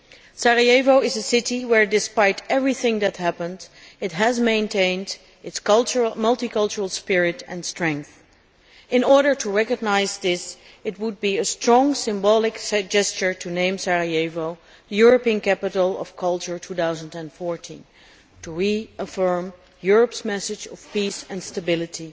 Sarajevo is a city which, despite everything that happened, has maintained its multicultural spirit and strength. In order to recognise this, it would be a strong symbolic gesture to name Sarajevo European Capital of Culture 2014, to reaffirm Europe's message of peace and stability.